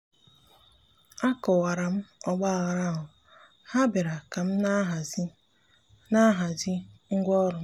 akọwara m ọgbaghara ahụ—ha bịara ka m na-ahazi m na-ahazi ngwa ọrụ m.